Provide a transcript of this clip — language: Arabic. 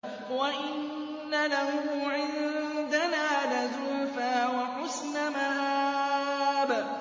وَإِنَّ لَهُ عِندَنَا لَزُلْفَىٰ وَحُسْنَ مَآبٍ